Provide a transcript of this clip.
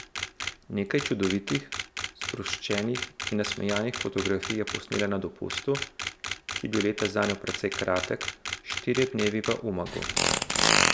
Nekaj čudovitih, sproščenih in nasmejanih fotografij je posnela na dopustu, ki je bil letos zanjo precej kratek, štirje dnevi v Umagu.